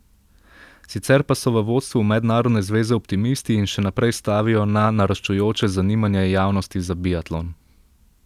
Sicer pa so v vodstvu mednarodne zveze optimisti in še naprej stavijo na naraščajoče zanimanje javnosti za biatlon.